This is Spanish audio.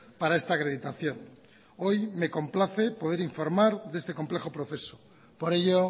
para esta acreditación hoy me complace poder informar de este complejo proceso por ello